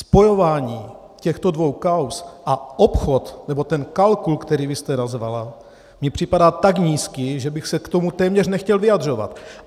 Spojování těchto dvou kauz a obchod, nebo ten kalkul, který vy jste nazvala, mi připadá tak nízký, že bych se k tomu téměř nechtěl vyjadřovat.